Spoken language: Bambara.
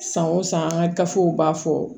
San o san an ka gafew b'a fɔ